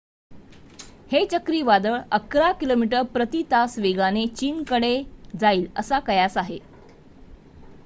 हे चक्रीवादळ अकरा किमी प्रती तास वेगाने चीन कडे जाईल असा कयास आहे